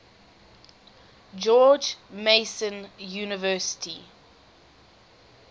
george mason university